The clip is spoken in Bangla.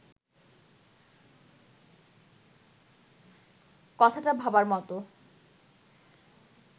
কথাটা ভাবার মতো